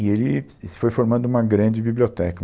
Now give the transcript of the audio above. E ele foi formando uma grande biblioteca.